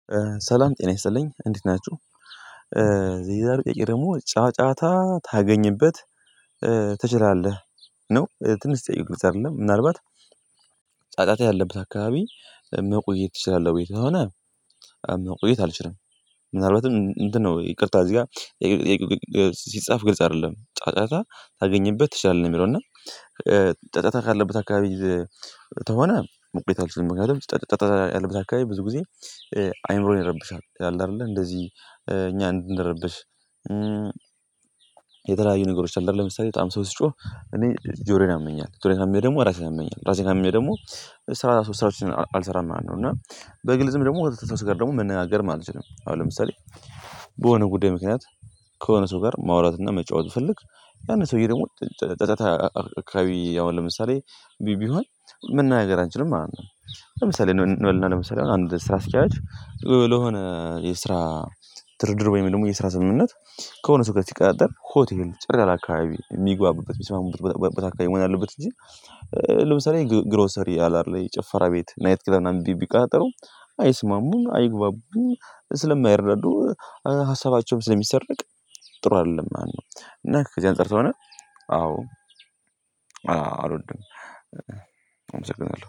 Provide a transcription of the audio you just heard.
ሰላም ጤና ይስጥልኝ እንዴት ናችሁ። የዛሬ ጥያቄ ደግሞ ጫጫታ ታገኝበት ትችላለህ ነው ትንሽ ጠይቁት አይደለም ምናልባት ጫጫታ ያለበት አካባቢ መቆየት ትችላለህ? ወይ ከሆነ መቆየት አልችልም። ምናልባትም እንትን ነው ይቅርታ እዚህ ጋር። ሲጻፍ ግልጽ አይደለም ጫጫታ ታገኘበት ትችላለህ ነው የሚለው እና። ጫጫታ ካለበት አካባቢ ተሆነ መቆየት አለችኝ ምክንያቱም ጫጫታ ያለበት አካባቢ ብዙ ጊዜ አእምሮዬ ይረብሻል። ያለ አይደለ እንደዚህ እኛ እንድንረብሽ። የተለያዩ ነገሮች አይደለም ለምሳሌ በጣም ሰው ሲጮህ እኔ ጆሮዬን ያመኛል። ጆሮዬን ካመመኝ ደግሞ ራሴን ያመኛል ራሴን ካመመኝ ደግሞ ስራ ስራዎችን አልሠራም ማለት ነው። እና በግልጽም ደግሞ ከሰ ሰዎች ጋር ደግሞ መነጋገርም አልችልም። አሁን ለምሳሌ በሆነ ጉዳይ ምክንያት ከሆነ ሰው ጋር ማውራት እና መጫወት ብፈልግ ያንን ሰውዬ ደግሞ ጨ ጫጫታ አካባቢ አሁን ለምሳሌ ቢ ቢሆን መነጋገር አንችልም ማለት ነው። ለምሳሌ እን እንበልና ለምሳሌ አንድ ስራ አስኪያጅ ለሆነ የስራ ድርድር ወይም ደግሞ የስራ ስምምነት ከሆነ ሰው ጋር ሲቀጣጠር ሆቴል ጭር ያለ አካባቢ የሚግባቡበት የሚስማሙበት ቦታ ቦታ አካባቢ መሆን አለበት። እንጂ ለምሳሌ ግ ግሮሰሪ አለ አይደለ ጭፈራ ቤት ናይት ክለብ ምናምን ቢ ቢቀጣጠሩ አይስማሙም አይግባቡም ስለማይረዱ ሀሳባቸውም ስለሚሰረቅ ጥሩ አይደለም ማለት ነው። እና ከዚህ አንፃር ሰለሆነ አዎ አዎ አልወድም። አመሰግናለሁ